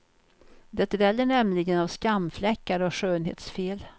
Det dräller nämligen av skamfläckar och skönhetsfel.